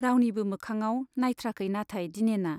रावनिबो मोखाङाव नाइथ्राखै नाथाय दिनेना।